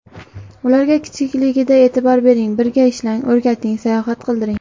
Ularga kichikligidan e’tibor bering, birga ishlang, o‘rgating, sayohat qildiring.